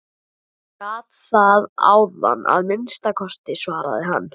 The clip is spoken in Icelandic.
Ég gat það áðan að minnsta kosti, svaraði hann.